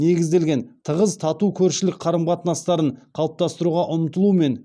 негізделген тығыз тату көршілік қарым қатынастарын қалыптастыруға ұмтылумен